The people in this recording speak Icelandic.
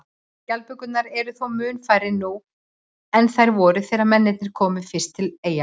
Skjaldbökurnar eru þó mun færri nú en þær voru þegar mennirnir komu fyrst til eyjanna.